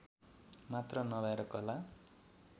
मात्र नभएर कला